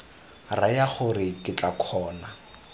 raya gore ke tla kgona